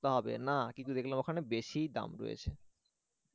সস্তা হবে না কিন্তু দেখলাম ওখানেই বেশিই দাম রয়েছে।